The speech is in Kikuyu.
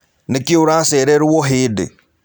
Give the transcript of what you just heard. Nĩkĩĩ ũracererwo o hĩndĩ?